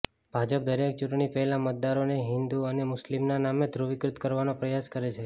ભાજપ દરેક ચૂંટણી પહેલા મતદારોને હિન્દુ અને મુસ્લિમના નામે ધ્રૂવીકૃત કરવાનો પ્રયાસ કરે છે